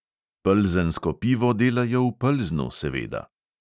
Plzensko pivo delajo v plznu, seveda.